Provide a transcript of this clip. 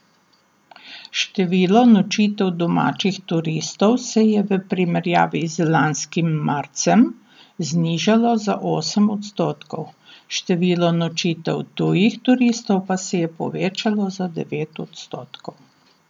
Število nočitev domačih turistov se je v primerjavi z lanskim marcem znižalo za osem odstotkov, število nočitev tujih turistov pa se je povečalo za devet odstotkov.